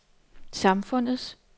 samfundets